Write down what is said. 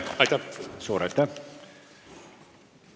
Suur aitäh teile!